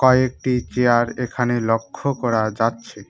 একটি চেয়ার এখানে লক্ষ্য করা যাচ্ছে।